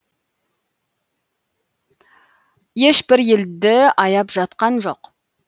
ешбір елді аяп жатқан жоқ